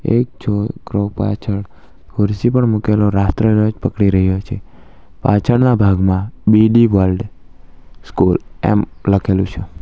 એક છોકરો પાછળ ખુરશી પર મુકેલો રાષ્ટ્રધ્વજ પકડી રહ્યો છે પાછળના ભાગમાં બી_ડી વર્લ્ડ સ્કૂલ એમ લખેલું છે.